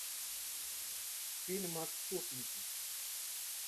фильм отступники